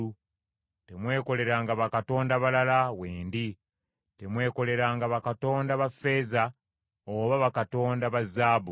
Temwekoleranga bakatonda balala wendi; temwekoleranga bakatonda ba ffeeza oba bakatonda ba zaabu.